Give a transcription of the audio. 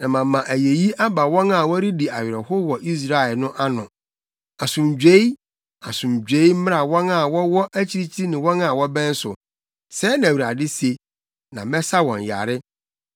na mama ayeyi aba wɔn a wɔredi awerɛhow wɔ Israel no ano. Asomdwoe, asomdwoe mmra wɔn a wɔwɔ akyirikyiri ne wɔn a wɔbɛn so,” sɛɛ na Awurade se. “Na mɛsa wɔn yare.”